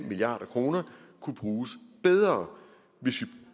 milliard kroner kunne bruges bedre hvis